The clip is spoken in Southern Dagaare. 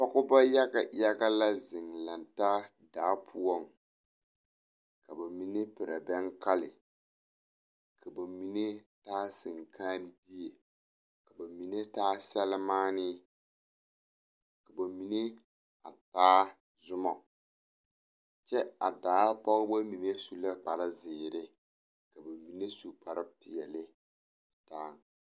Pogeba yaga yaga lɛɛ la ziŋ daa poɔŋ ka bamine perɛɛ bɛŋ kali ka bamine taa senkããbie ka bamine taa selmããne ka bamine taa zɔmma kyɛ a daa pogeba mine su la kparre zeree ka bamine su kparre peɛle daaŋ.